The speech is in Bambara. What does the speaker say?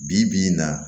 Bi bi in na